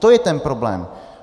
To je ten problém!